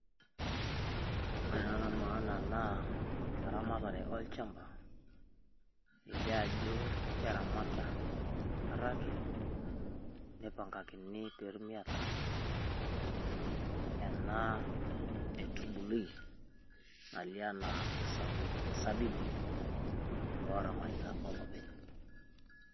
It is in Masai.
Ore ena naa maana naa eramatare olchamba. Eilee ajo keramata araaki nepang'akini pee etuum ataramaat. Enaa etubului nailea naa esabu sabibu oramatita oloipeny.